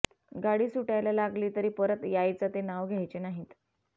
गाडी सुटायला लागली तरी परत यायचं ते नाव घ्यायचे नाहीत